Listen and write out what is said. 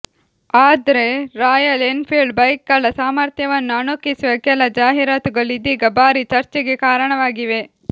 ಆದ್ರೆ Royal Enfield ಬೈಕ್ಗಳ ಸಾಮರ್ಥ್ಯವನ್ನು ಅಣಕಿಸುವ ಕೆಲ ಜಾಹೀರಾತುಗಳು ಇದೀಗ ಭಾರೀ ಚರ್ಚೆಗೆ ಕಾರಣವಾಗಿವೆ